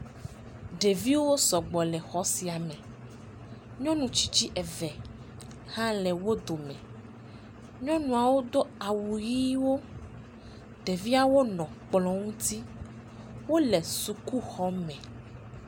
Ɖeviwo sɔgbɔ le xɔ sia me. Nyɔnu tsitsi eve hã le wo dome. Nyɔnuawo do awu ʋiwo. Ɖeviawo nɔ kplɔ ŋuti. Wole sukuxɔme